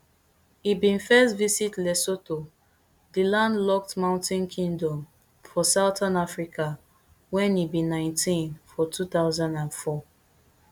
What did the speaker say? e bin first visit lesotho di landlocked mountain kingdom for southern africa wen e be nineteen for two thousand and four